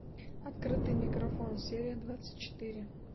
открытый микрофон серия двадцать четыре